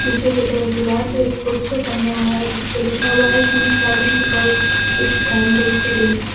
पीछे की तरफ एक दीवार पे पोस्टर टंगा हुआ हैं जिसपे लिखा हुआ है keep silence because it's time to study.